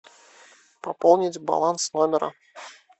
пополнить баланс номера